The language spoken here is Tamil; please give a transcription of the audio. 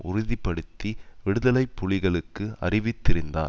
உறுதி படுத்தி விடுதலை புலிகளுக்கு அறிவித்திருந்தார்